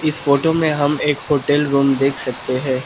इस फोटो में हम एक होटल रूम देख सकते हैं।